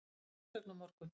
Skila umsögn á morgun